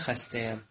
Mən xəstəyəm.